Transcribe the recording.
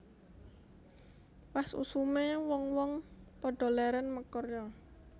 Pas usume wong wong padha leren makarya